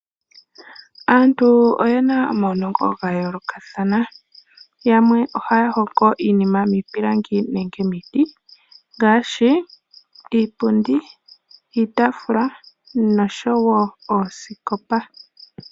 Aantu oyena omaunongo gayoolokathana, yamwe ohaya hongo iinima miipilangi nenge miiti ngaashi iipundi, iitafuula noshowo oosikopa.